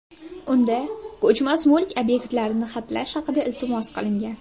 Unda ko‘chmas mulk obyektlarini xatlash haqida iltimos qilingan.